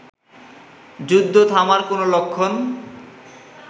যুদ্ধ থামার কোন লক্ষণ